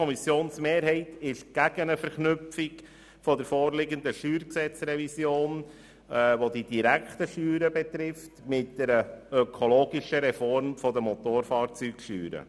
Die FiKo-Mehrheit ist gegen eine Verknüpfung der vorliegenden StG-Revision, welche die direkten Steuern betrifft, mit einer ökologischen Revision der Motorfahrzeugsteuer.